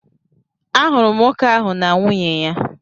Ahụrụ m nwoke ahụ na nwunye ya.